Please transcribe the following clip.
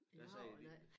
De har vel A